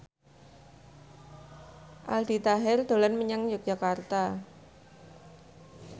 Aldi Taher dolan menyang Yogyakarta